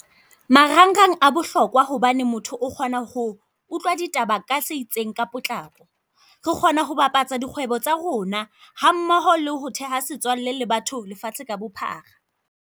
Marangrang a bohlokwa hobane motho o kgona ho utlwa ditaba ka se itseng ka potlako. Re kgona ho bapatsa dikgwebo tsa rona, hammoho le ho theha setswalle le batho lefatshe ka bophara.